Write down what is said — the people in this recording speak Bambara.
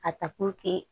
A ta